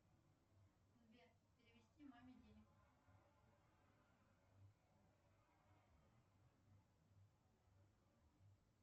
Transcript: сбер перевести маме денег